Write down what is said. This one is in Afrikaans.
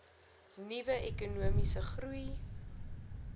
nuwe ekonomiese groei